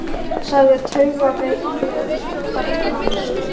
sagði taugaveikluð karlmannsrödd.